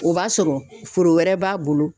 O b'a sɔrɔ foro wɛrɛ b'a bolo